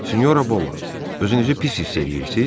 Sinora Bolla, özünüzü pis hiss eləyirsiz?